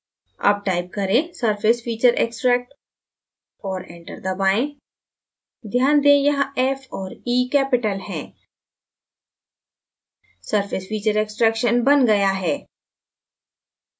अब type करें surfacefeatureextract और enter दबाएँ ध्यान दें यहाँ f और e capital हैं surface feature extraction now गया है